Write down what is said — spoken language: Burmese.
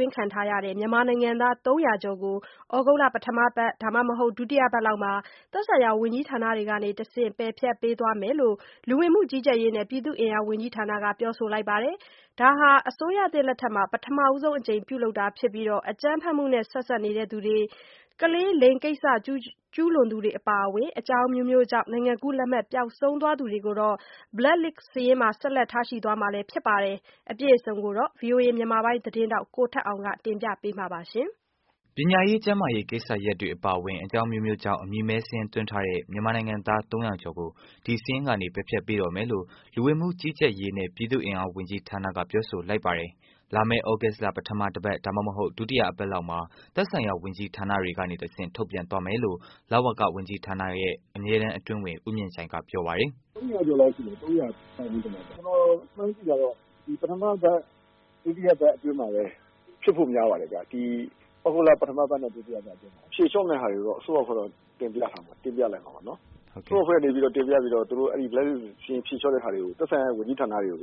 ွင်းထားတဲ့ မြန်မာနိုင်ငံသား ၃၀၀ ကျော်ကို သြဂုတ်လ ပထမအပတ် ဒါမှမဟုတ် ဒုတိယအပတ်လောက်မှာ သက်ဆိုင်ရာ ဝန်ကြီးဌာနတွေကနေတစ်ဆင့် ပယ်ဖျက်ပေးသွားမယ်လို့ လူဝင်မှု ကြီးကြပ်ရေးနဲ့ ပြည်သူ့အင်အားဝန်ကြီးဌာနက ပြောဆိုလိုက်ပါတယ်။ ဒါဟာ အစိုးရသစ်လက်ထက်မှာ ပထမဆုံး အကြိမ် ပြုလုပ်တာ ဖြစ်ပြီး အကြမ်းဖက်မှုနဲ့ ဆက်စပ်နေတဲ့ သူများနဲ့ ကလေး လိင်ကိစ္စ ကျုးလွန်သူတွေအပါအဝင် အကြောင်းအမျိုးမျိုးကြောင့် နိုင်ငံကူး လက်မှတ်ပျောက်ဆုံးသူတွေကိုတော့ blacklist စာရင်းမှာ ဆက်လက်ထားရှိသွားမှာလည်း ဖြစ်ပါတယ်။အပြည့်အစုံကိုတော့ ဗွီအိုအေမြန်မာပိုင်း သတင်းထောက် ကိုထက်အောင်က တင်ပြပေးမှာပါ။ ပညာရေး ကျန်းမာရေး ကိစ္စရပ်တွေအပါအဝင် အကြောင်းအမျိုးမျိုးကြောင့် အမည်မဲစာရင်းသွင်းထားတဲ့ မြန်မာနိုင်ငံ သား ၃၀၀ ကျော်ကို ဒီစာရင်းကနေ ပယ်ဖျက်ပေးတော့မယ်လို့ လူဝင်မှု ကြီးကြပ်ရေးနဲ့ ပြည်သူ့အင်အား ဝန်ကြီးဌာနက ပြောဆိုလိုက်ပါတယ်။ လာမယ့် သြဂုတ်လ ပထမအပတ် ဒါမှမဟုတ် ဒုတိယအပတ်လောက်မှာ သက်ဆိုင်ရာ ဝန်ကြီးဌာနတွေကနေတစ်ဆင့် ထုတ်ပြန်သွားမယ်လို့ လဝက ဝန်ကြီးဌာနက အမြဲတမ်းအတွင်းဝန် ဦးမြင့်ကြိုင်က ပြောပါတယ်။ “၃၀၀ ကျော်လောက်ရှိမယ်။ ကျနော်မှန်းကြည့်တာကတော့ ပထမပတ်၊ ဒုတိယပတ်အတွင်းမှာပဲ ဖြစ်ဖို့များပါတယ်ခင်ဗျ။ ဒီ သြဂုတ်လ ပထမပတ်နဲ့ ဒုတိယပတ်အတွင်းမှာပဲဖြေလျှော့မယ့်ဟာတွေကိုတော့ အစိုးရအဖွဲ့ ကို တင်ပြထားမှာပေါ့နော်။ အစိုးရအဖွဲ့ကနေ တင်ပြထားတဲ့ ဖြေလျှော့မယ့်ဟာတွေကို သက်ဆိုင်ရာ ဝန်ကြီးဌာနတွေကို